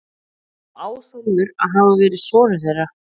Á Ásólfur að hafa verið sonur þeirra.